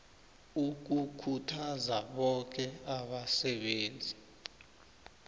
ukukhuthaza boke abasebenzi